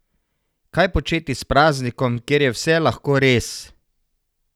Kaj početi s praznikom, kjer je vse lahko res?